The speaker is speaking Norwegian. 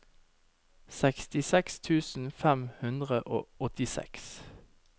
sekstiseks tusen fem hundre og åttiseks